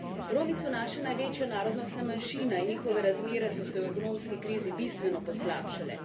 Romi so naša največja narodnostna manjšina in njihove razmere so se v ekonomski krizi bistveno poslabšale.